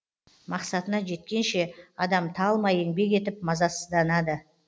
мақсатына жеткенше адам талмай еңбек етіп мазасызданады